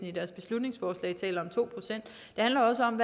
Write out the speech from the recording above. i deres beslutningsforslag det handler også om